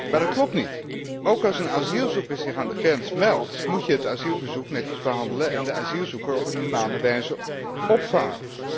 Maar dat klopt niet. Ook als een asielzoeker zich aan de grens meldt moet je het asielverzoek netjes behandelen en de asielzoeker op een humane wijze opvangen.